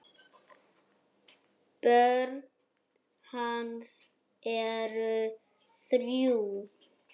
Börn hans eru þrjú.